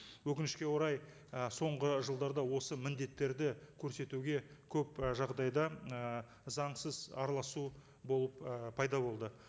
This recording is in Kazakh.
өкінішке орай і соңғы жылдарда осы міндеттерді көрсетуге көп ы жағдайда ы заңсыз араласу болып ы пайда болды